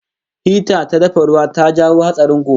Hita ta dafa ruwa ta jawo hatsarin gobara